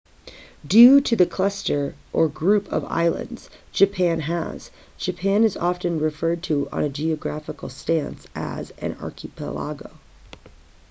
due to the cluster/group of islands japan has japan is often referred to on a geographical stance as an archipelago